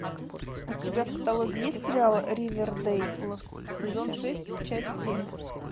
у тебя в каталоге есть сериал ривердейл сезон шесть часть семь